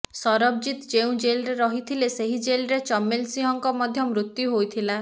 ସରବଜୀତ ଯେଉଁ ଜେଲରେ ରହିଥିଲେ ସେହି ଜେଲରେ ଚମେଲ ସିଂହଙ୍କ ମଧ୍ୟ ମୃତ୍ୟୁ ହୋଇଥିଲା